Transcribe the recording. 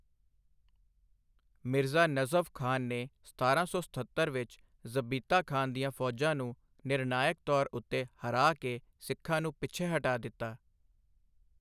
ਮਿਰਜ਼ਾ ਨਜ਼ਫ਼ ਖ਼ਾਨ ਨੇ ਸਤਾਰਾਂ ਸੌ ਸਤੱਤਰ ਵਿੱਚ ਜ਼ਬੀਤਾ ਖ਼ਾਨ ਦੀਆਂ ਫ਼ੌਜਾਂ ਨੂੰ ਨਿਰਣਾਇਕ ਤੌਰ ਉੱਤੇ ਹਰਾ ਕੇ ਸਿੱਖਾਂ ਨੂੰ ਪਿੱਛੇ ਹਟਾ ਦਿੱਤਾ।